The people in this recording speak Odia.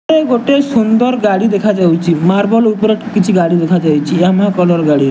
ଗୋଟିଏ ସୁନ୍ଦର ଗାଡି ଦେଖା ଯାଉଚି ମାର୍ବଲ ଉପରେ କିଛି ଗାଡି ଦେଖା ଯାଉଛି କଲର ଗାଡି।